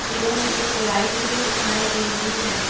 एवं एक लाइट भी दिखाई दे रही है।